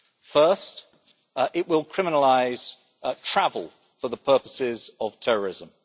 First, it will criminalise travel for the purposes of terrorism.